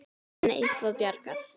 Verður henni eitthvað bjargað?